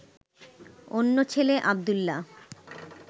অন্য ছেলে আব্দুল্লাহ